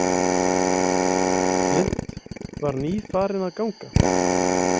Flint var nýfarinn að ganga.